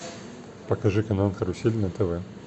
покажи канал карусель на тв